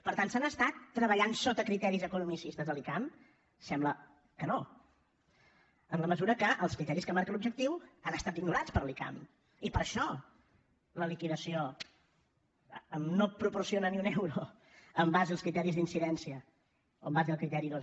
per tant s’ha estat treballant sota criteris economicistes a l’icam sembla que no en la mesura que els criteris que marca l’objectiu han estat ignorats per l’icam i per això la liquidació no proporciona ni un euro en base als criteris d’incidència o en base al criteri dos